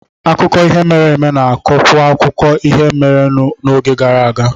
Akụkọ ihe mere eme na-akọwakwuo ihe merenụ n'oge gara aga